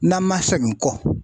N'an ma sɛgin kɔ